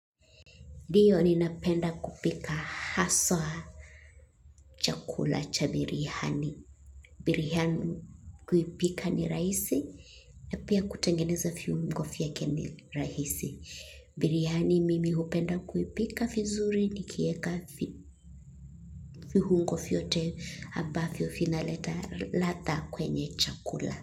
Ndiyo ni napenda kupika haswa chakula cha birhani. Birhani kuipika ni rahisi, na pia kutengeneza viungo vyake ni rahisi. Biryani mimi hupenda kuipika vizuri ni kieka vihungo viyote hambavyo vinaleta ladha kwenye chakula.